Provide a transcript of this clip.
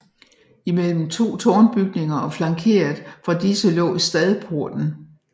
Imellem to tårnbygninger og flankeret fra disse lå stadporten